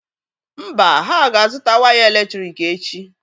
Mba, ha ga-azụta waya èlétrị̀k echi.